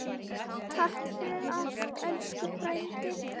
Takk fyrir allt, elsku frændi.